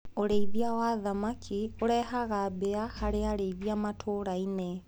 ũrĩithia wa thamaki ũrehaga mbia harĩ arĩithia matũrainĩ.